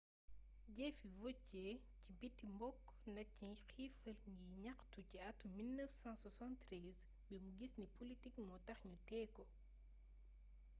jeefi vautier ci bitti bokk naci xiifal ngir ñaxtu ci atum 1973 bimu giss ni politik mootax ñu tééko